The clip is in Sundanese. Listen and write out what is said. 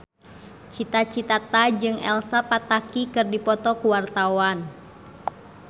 Cita Citata jeung Elsa Pataky keur dipoto ku wartawan